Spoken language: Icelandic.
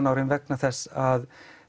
ára vegna þess að